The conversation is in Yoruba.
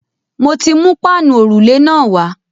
Mo ti mú páànù òrùlé náà wá.